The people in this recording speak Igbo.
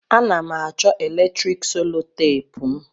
A na'm acho eletrik solotape'm.